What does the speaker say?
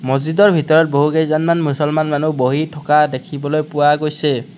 মছজিদৰ ভিতৰত বহুকেইজনমান মুছলমান মানুহ বহি থকা দেখিবলৈ পোৱা গৈছে।